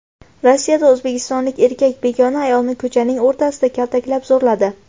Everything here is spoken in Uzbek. Rossiyada o‘zbekistonlik erkak begona ayolni ko‘chaning o‘rtasida kaltaklab, zo‘rladi.